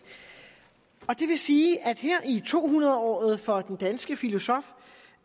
det vil sige at her i to hundrede året for den danske filosof